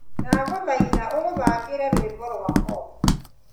ndagũthaitha ũthaakĩra rwimbo rwa folk